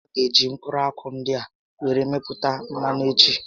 A gá eji mkpụrụ akwụ ndị a were mepụta mmanụ echi